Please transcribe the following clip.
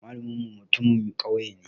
Malamin mu mutum Mai kyau ne.